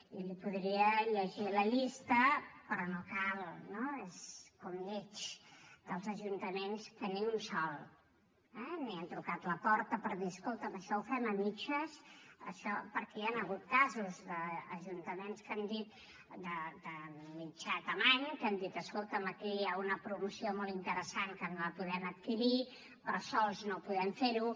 i li’n podria llegir la llista però no cal no és com lleig dels ajuntaments que ni un de sol eh han trucat a la porta per dir escolta’m això ho fem a mitges perquè hi han hagut casos d’ajuntaments de mitjana mida que han dit escolta’m aquí hi ha una promoció molt interessant que no la podem adquirir però sols no podem fer ho